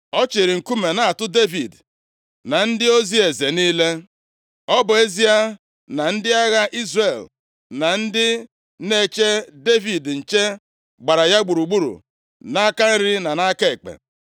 Ọ chịịrị nkume na-atụ Devid na ndị ozi eze niile. Ọ bụ ezie na ndị agha Izrel na ndị na-eche Devid nche gbara ya gburugburu nʼaka nri na aka ekpe.